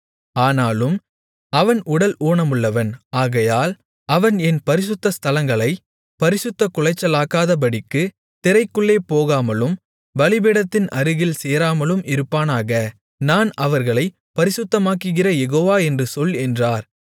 ஆனாலும் அவன் உடல் ஊனமுள்ளவன் ஆகையால் அவன் என் பரிசுத்த ஸ்தலங்களைப் பரிசுத்தக் குலைச்சலாக்காதபடிக்குத் திரைக்குள்ளே போகாமலும் பலிபீடத்தின் அருகில் சேராமலும் இருப்பானாக நான் அவர்களைப் பரிசுத்தமாக்குகிற யெகோவா என்று சொல் என்றார்